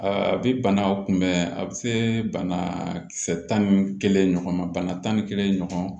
A bi banaw kunbɛn a bɛ se bana kisɛ tan ni kelen ɲɔgɔn ma bana tan ni kelen ɲɔgɔn